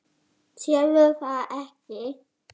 Sérðu það ekki?